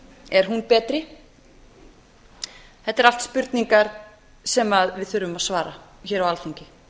er hún betri þetta eru allt spurningar sem við þurfum að svara hér á alþingi